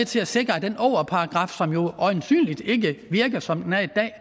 til at sikre at den ågerparagraf som jo øjensynligt ikke virker som den er i dag